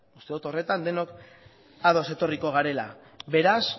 uste dut horretan denok ados etorriko garela beraz